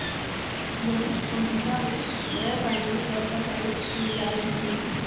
units امریکہ میں غیر قانونی طور پر فروخت کئے جا رہے ہیں